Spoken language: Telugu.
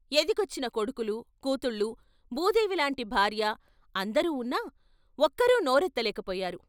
ఎదిగొచ్చిన కొడుకులు, కూతుళ్ళు, భూదేవిలాంటి భార్య అందరూ ఉన్నా, ఒక్కరూ నోరెత్తలేకపోయారు.